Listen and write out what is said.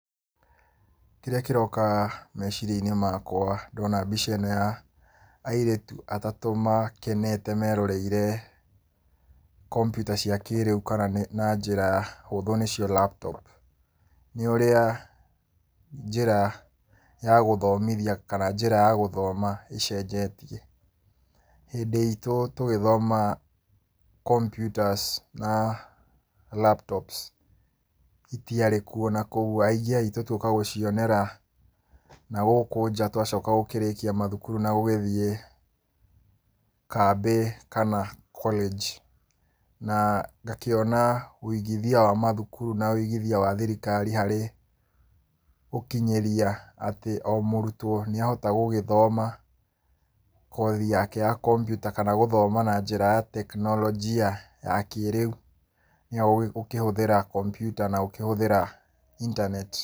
Kĩrĩa kĩroka meciria-inĩ makwa ndona mbica ĩno ya airĩtu atatũ makenete meroreire kombiuta cia kĩrĩu kana na njĩra hũthũ nĩcio laptop, nĩ ũrĩa njĩra ya gũthomothia kana njĩra ya gũthoma ĩcenjetie. Hĩndĩ itũ tũgĩthoma computers na laptops itiarĩ kuo na kuoguo aingĩ aitũ tuoka gũcionera na gũkũ nja twacoka gũkĩrĩkia mathukuru na gũgĩthiĩ kambĩ kana college na ngakĩona ũigithia wa mathukuru na wĩigithia wa thirikari harĩ ũkinyĩria atĩ o mũrutwo nĩahota gũgĩthoma, kothi yake ya kOmbiuta kana gũthoma na njĩra ya teknorojia ya kĩrĩu ya gũkĩhũthĩra kombiuta na gũkĩhũthĩra intaneti.